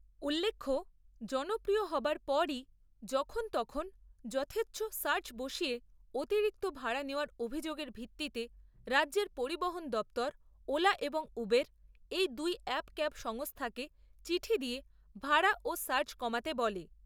উল্লেখ্য, জনপ্রিয় হবার পরই যখন তখন যথেচ্ছ সার্জ বসিয়ে অতিরিক্ত ভাড়া নেওয়ার অভিযোগের ভিত্তিতে রাজ্যের পরিবহন দপ্তর, ওলা এবং উবের এই দুই অ্যাপ ক্যাব সংস্থাকে চিঠি দিয়ে ভাড়া ও সার্জ কমাতে বলে।